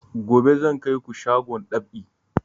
Gobe zan kai ku shagon dab'i